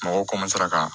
Mɔgɔw ka